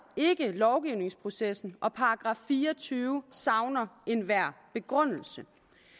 lovgivningsprocessen og at § fire og tyve savner enhver begrundelse